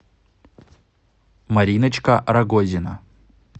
мариночка рагозина